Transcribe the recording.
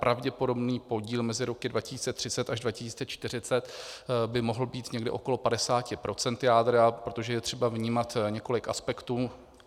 Pravděpodobný podíl mezi roky 2030 až 2040 by mohl být někde okolo 50 % jádra, protože je třeba vnímat několik aspektů.